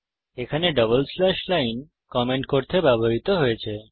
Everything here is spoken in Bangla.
এখানে ডবল স্ল্যাশ লাইন কমেন্ট করতে ব্যবহৃত হয়েছে